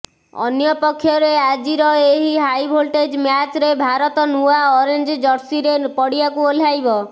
ଅନ୍ୟପକ୍ଷରେ ଆଜିର ଏହି ହାଇଭୋଲ୍ଟେଜ ମ୍ୟାଚ୍ରେ ଭାରତ ନୂଆ ଅରେଞ୍ଜ ଜର୍ସିରେ ପଡ଼ିଆକୁ ଓହ୍ଲାଇବ